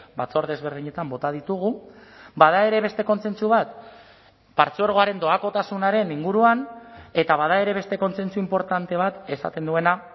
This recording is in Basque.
batzorde ezberdinetan bota ditugu bada ere beste kontsentsu bat partzuergoaren doakotasunaren inguruan eta bada ere beste kontsentsu inportante bat esaten duena